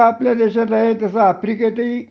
जस आपल्या देशात आहे तस आफ्रिकेत हि